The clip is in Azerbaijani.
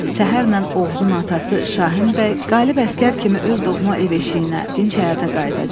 Səhərlə Oğuzun atası Şahin bəy qalib əsgər kimi öz doğma ev-eşiyinə, dinc həyata qayıdacaq.